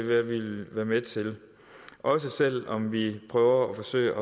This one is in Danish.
vi vil være med til også selv om vi prøver at forsøge